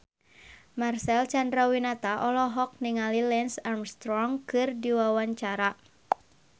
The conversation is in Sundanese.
Marcel Chandrawinata olohok ningali Lance Armstrong keur diwawancara